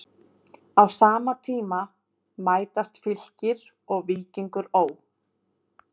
Á sama tíma mætast Fylkir og Víkingur Ó.